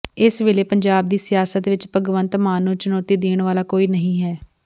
ਇਸ ਵੇਲੇ ਪੰਜਾਬ ਦੀ ਸਿਆਸਤ ਵਿੱਚ ਭਗਵੰਤ ਮਾਨ ਨੂੰ ਚੁਣੌਤੀ ਦੇਣ ਵਾਲਾ ਕੋਈ ਨਹੀਂ ਹੈ